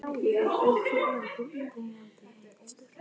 Er Öræfajökull deyjandi eldstöð?